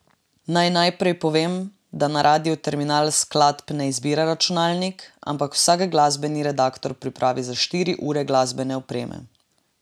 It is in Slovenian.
Naj najprej povem, da na Radiu Terminal skladb ne izbira računalnik, ampak vsak glasbeni redaktor pripravi za štiri ure glasbene opreme.